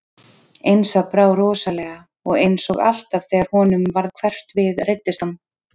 Einsa brá rosalega og eins og alltaf þegar honum varð hverft við reiddist hann.